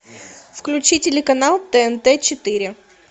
включи телеканал тнт четыре